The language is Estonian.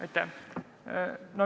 Aitäh!